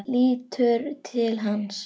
Lítur til hans.